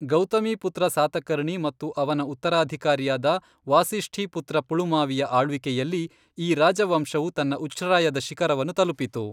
ಗೌತಮೀಪುತ್ರ ಸಾತಕರ್ಣಿ ಮತ್ತು ಅವನ ಉತ್ತರಾಧಿಕಾರಿಯಾದ ವಾಸಿಷ್ಠೀಪುತ್ರ ಪುಳುಮಾವಿಯ ಆಳ್ವಿಕೆಯಲ್ಲಿ ಈ ರಾಜವಂಶವು ತನ್ನ ಉಚ್ಛ್ರಾಯದ ಶಿಖರವನ್ನು ತಲುಪಿತು.